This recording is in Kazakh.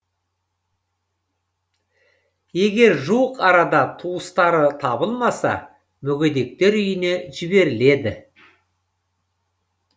егер жуық арада туыстары табылмаса мүгедектер үйіне жіберіледі